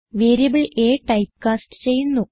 variable a type cast ചെയ്യുന്നു